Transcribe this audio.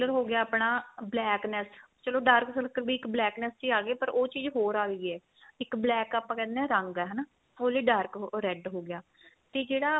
ਹੋ ਗਿਆ ਆਪਣਾ blackness ਚਲੋ dark circle ਵੀ ਇੱਕ blackness ਚ ਈ ਆ ਗਏ ਪਰ ਉਹ ਚੀਜ਼ ਹੋਰ ਆ ਗਈ ਏ ਇੱਕ ਆਪਾਂ ਕਹਿਨੇ ਆ ਰੰਗ ਏ ਹਨਾ ਹੋਲੀ dark ਉਹ red ਹੋ ਗਿਆ ਤੇ ਜਿਹੜਾ